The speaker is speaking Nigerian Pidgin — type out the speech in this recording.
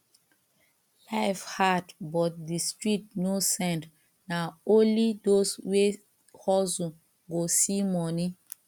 life hard but di street no send na only those wey hustle go see money